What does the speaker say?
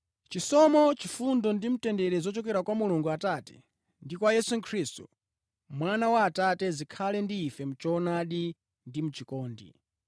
Chisomo, chifundo ndi mtendere zochokera kwa Mulungu Atate ndi kwa Yesu Khristu, Mwana wa Atate, zikhale ndi ife mʼchoonadi ndi mʼchikondi.